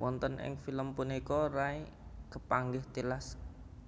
Wonten ing film punika Ray kepanggih tilas